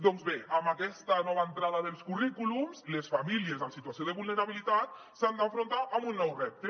doncs bé amb aquesta nova entrada dels currículums les famílies en situació de vulnerabilitat s’han d’enfrontar a un nou repte